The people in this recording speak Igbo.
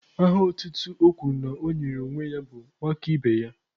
Aha otutu o kwuru na ọ nyere onwe ya bụ 'nwakaibeya'